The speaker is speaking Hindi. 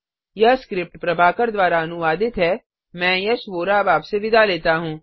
यह स्क्रिप्ट प्रभाकर द्वारा अनुवादित है मैं यश वोरा अब आपसे विदा लेता हूँ